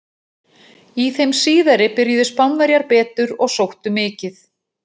Í þeim síðari byrjuðu Spánverjar betur og sóttu mikið.